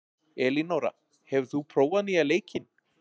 Elinóra, hefur þú prófað nýja leikinn?